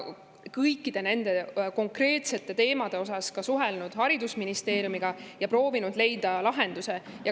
Kõikide nende konkreetsete teemade asjus oleme suhelnud haridusministeeriumiga ja proovinud leida lahendust.